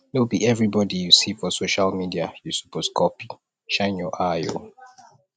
no be everybodi you see for social media you suppose copy shine your eye o